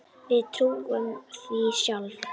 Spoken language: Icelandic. Við trúðum því sjálf.